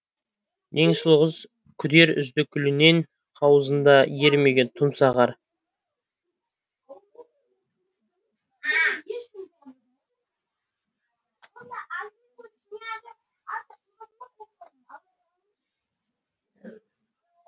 ең сұлу қыз күдер үзді гүлінен қауызында ерімеген тұмса қар